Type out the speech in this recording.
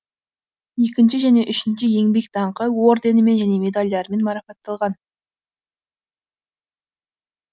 екінші және үшінші еңбек даңқы орденімен және медальдармен марапатталған